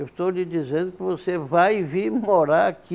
Eu estou lhe dizendo que você vai vir morar aqui